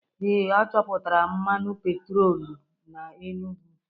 Ee, a chọpụtara mmanụ petrolum na Enugwu.